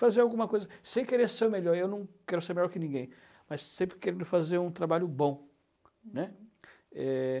fazer alguma coisa, sem querer ser o melhor, eu não quero ser melhor que ninguém, mas sempre querendo fazer um trabalho bom, né? Eh...